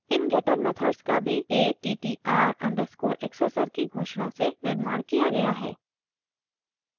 इन getter methods का भी attr_accessor की घोषणा से निर्माण किया गया था